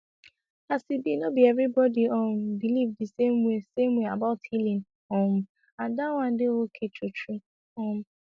as e be no be everybody um believe the same way same way about healing um and that one dey okay true true um